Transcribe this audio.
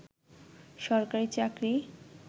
সরকারি চাকরি